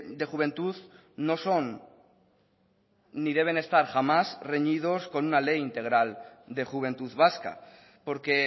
de juventud no son ni deben estar jamás reñidos con una ley integral de juventud vasca porque